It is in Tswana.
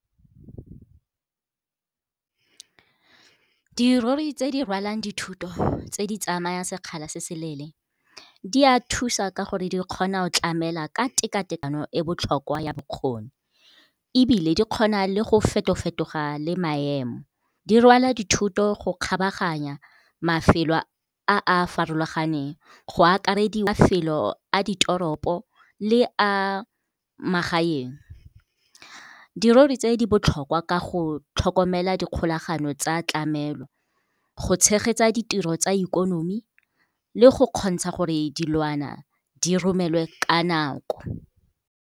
Dirori tse di rwalang dithoto tse di tsamaya sekgala se se leele di a thusa ka gore di kgona go tlamela ka tekatekano e botlhokwa ya bokgoni. Ebile di kgona le go feto-fetoga le maemo, di rwala dithoto go kgabaganya mafelo a a farologaneng go akarediwa mafelo a ditoropo le a magaeng. Dirori tse di botlhokwa ka go tlhokomela dikgolagano tsa tlamelo, go tshegetsa ditiro tsa ikonomi le go kgontsha gore dilwana di romelwe ka nako.